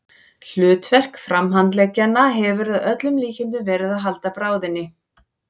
Hlutverk framhandleggjanna hefur að öllum líkindum verið að halda bráðinni.